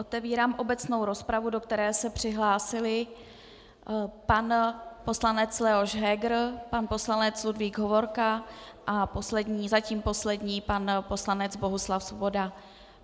Otevírám obecnou rozpravu, do které se přihlásili pan poslanec Leoš Heger, pan poslanec Ludvík Hovorka a zatím poslední pan poslanec Bohuslav Svoboda.